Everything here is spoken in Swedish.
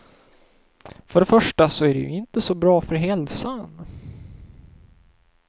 För det första så är det ju inte så bra för hälsan.